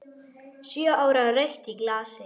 Sjö ára rautt í glasi.